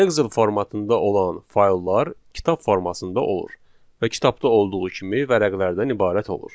Excel formatında olan fayllar kitab formasında olur və kitabda olduğu kimi vərəqlərdən ibarət olur.